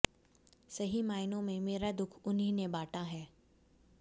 सही मायनों में मेरा दुख उन्हीं ने बांटा है